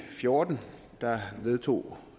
fjorten vedtog